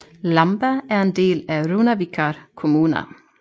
Lamba er en del af Runavíkar kommuna